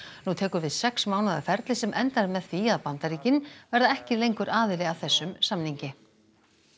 nú tekur við sex mánaða ferli sem endar með því að Bandaríkin verða ekki lengur aðili að þessum samningi